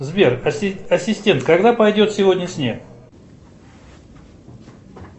сбер ассистент когда пойдет сегодня снег